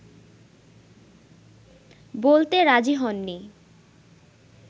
বলতে রাজি হননি